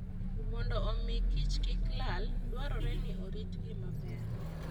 Mondo omi kichkik lal, dwarore ni oritgi maber.